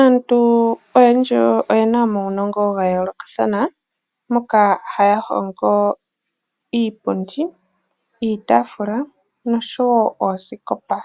Aantu oyendji oyena omawunongo gayoolokathana moka haya hongo iipundi, iitaafula nosho wo oosikopa,